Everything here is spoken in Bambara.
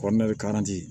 Kɔɔna bɛ